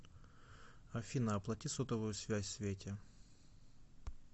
афина оплати сотовую связь свете